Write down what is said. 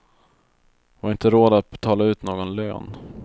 Vi har inte råd att betala ut någon lön.